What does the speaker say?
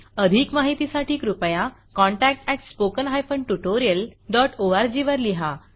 अधिक माहितीसाठी कृपया contact at spoken hyphen tutorial dot ORG वर लिहा